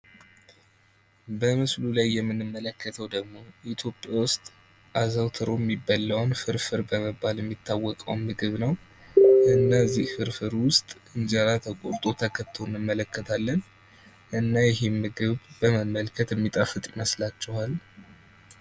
በምስሉ ላይ የምንመለከተው ደግሞ ኢትዮጵያ ውስጥ አዘውትሮ የሚበላውን ፍርፍር በመባል የሚታወቀውን ምግብ ነው። እነዚህ ፍርፍር ውስጥ እንጀራ ተቆርጦ ተከቶ እንመለከታለን። እና ይሄን ምግብ በመመልከት የሚጣፍጥ ይመስላችኋል?